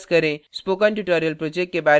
spoken tutorial project के बारे में अधिक जानने के लिए